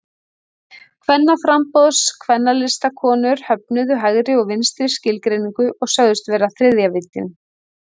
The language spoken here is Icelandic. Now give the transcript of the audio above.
Kvennaframboðs- og Kvennalistakonur höfnuðu hægri og vinstri skilgreiningu og sögðust vera þriðja víddin.